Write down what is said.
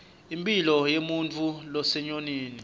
impilo yemuntfu losenyonini